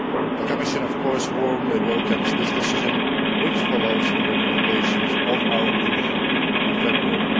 The Commission warmly welcomes this decision, which follows the recommendations of our opinion of February.